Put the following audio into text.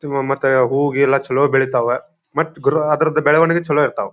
ತಿಮ್ಮ ಮತ್ತ ಹೂವ ಗಿವ ಎಲ್ಲ ಚಲೋ ಬೆಳೀತಾವ ಮತ್ ಅದರ ಬೆಳೆವಣಿಗೆ ಚಲೋ ಇರ್ತವ.